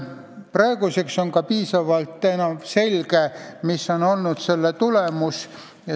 Praeguseks on piisavalt selge, mis on olnud selle tulemus.